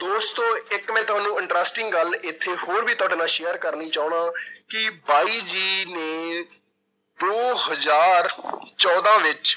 ਦੋਸਤੋ ਇੱਕ ਮੈਂ ਤੁਹਾਨੂੰ interesting ਗੱਲ ਇੱਥੇ ਹੋਰ ਵੀ ਤੁਹਾਡੇ ਨਾਲ share ਕਰਨੀ ਚਾਹੁਨਾ ਕਿ ਬਾਈ ਜੀ ਨੇ ਦੋ ਹਜ਼ਾਰ ਚੌਦਾਂ ਵਿੱਚ